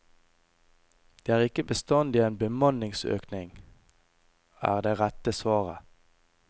Det er ikke bestandig en bemanningsøkning er det rette svaret.